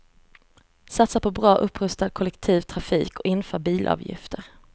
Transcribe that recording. Satsa på bra, upprustad kollektiv trafik och inför bilavgifter.